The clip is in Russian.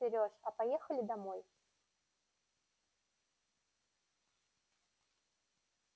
слышишь серёж а поехали домой